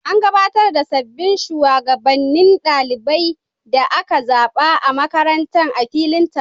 An gabatar da sabbin shugabannin ɗalibai da aka zaba a makarantar a filin taro.